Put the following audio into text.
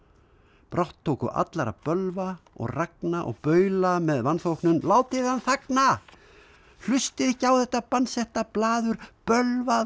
brátt tóku allar að bölva og ragna og baula með vanþóknun látið hann þagna hlustið ekki á þetta bannsetta blaður bölvað og